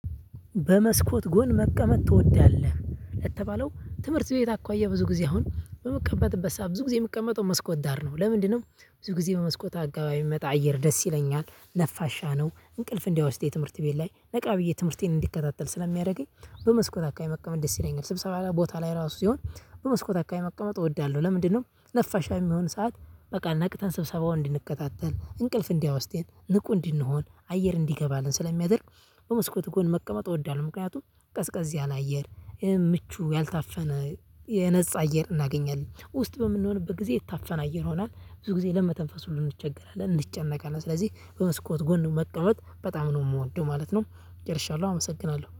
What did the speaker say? በመስኮት ጎን መቀመጥ ትወዳለህ ለተባለው ትምህርት ቤት አኳያ ብዙ ጊዜ አሁን በምቀመጥበት ሰዓት ብዙ ጊዜ የምቀመጠው መስኮት ዳር ነው። ለምንድነው? ብዙ ጊዜ በመስኮት አካባቢ የሚመጣ አየር ደስ ይለኛል ነፋሻ ነው። እንቅልፍ እንዳይወስደኝ ትምህርት ቤት ላይ ነቃ ብዬ ትምህርቴን እንዲከታተል ስለሚያደርገኝ። በመስኮት አካባቢ መቀመጥ ደስ ይለኛል። ስብሰባ ቦታ ላይ ራሱ ሲሆን በመስኮት አካባቢ መቀመጥ እወዳለሁ። ለምንድነው? ነፋሻ የሚሆን ሰዓት። በቃ ነቅተን ስብሰባውን እንድንከታተል እንቅልፍ እንዳይወስደን ንቁ እንድንሆን አየር እንዲገባልን ስለሚያደርግ። በመስኮት ጎን መቀመጥ እወዳለሁ። ምክንያቱም ቀዝቀዝ ያለ አየር ምቹ ያልታፈነ የነፃ አየር እናገኛለን። ውስጥ በምንሆንበት ጊዜ የታፈነ አየር ይሆኗል ብዙ ጊዜ ለመተንፈስ ሁሉ እንቸገራለን እንጨነቃለን። ስለዚህ በመስኮት ጎን መቀመጥ በጣም ነው የምወደው ማለት ነው። ጨርሻለሁ አመሰግናለሁ